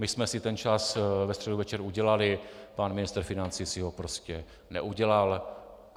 My jsme si ten čas ve středu večer udělali, pan ministr financí si ho prostě neudělal.